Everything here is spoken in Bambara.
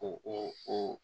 O o